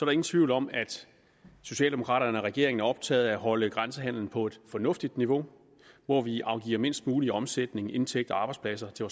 ingen tvivl om at socialdemokraterne og regeringen er optaget af at holde grænsehandelen på et fornuftigt niveau hvor vi afgiver mindst mulig omsætning indtægter og arbejdspladser til